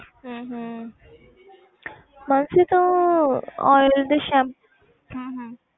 ਹਮ ਹਮ ਮਾਨਸੀ ਤੂੰ oiled shampoo ਹਮ ਹਮ